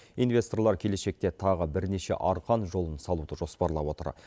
инвесторлар келешекте тағы бірнеше арқан жолын салуды жоспарлап отыр